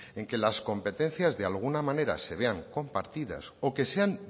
que las competencias de alguna manera se vean compartidas o que sean